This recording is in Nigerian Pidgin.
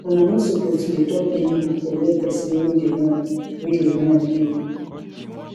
una no suppose to dey talk anyhow for where pesin wey dey mourn wey dey mourn dey